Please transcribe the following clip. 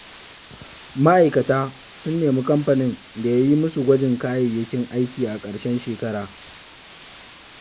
Ma'aikata sun nemi kamfanin da ya yi musu gwanjon kayayyakin aiki a karshen shekara.